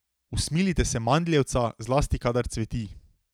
Usmilite se mandljevca, zlasti kadar cveti.